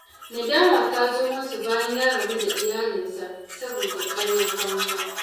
Nadama ta zo masa bayan ya rabu da iyalinsa saboda ƙaryar banza.